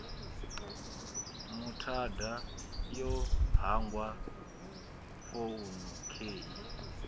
muthada yo hangwa founu khei